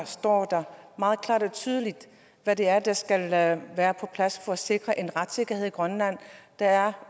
står der meget klart og tydeligt hvad det er der skal være på plads for at sikre en retssikkerhed i grønland der er